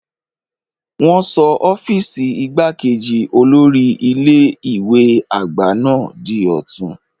Wọn sọ ọ́fíìsì igbákejì olórí ilé ìwé àgbà náà di ọ̀tun.